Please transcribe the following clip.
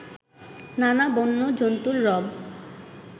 নানা বন্য জন্তুর রব